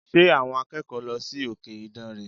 Ṣé àwọn akẹ́kọ̀ọ́ lọ sí òkè ìdànrè?